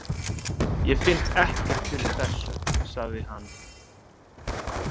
Ég finn ekkert fyrir þessu, sagði hann.